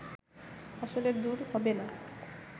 আসলে দূর হবে না